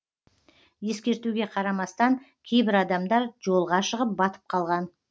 ескертуге қарамастан кейбір адамдар жолға шығып батып қалған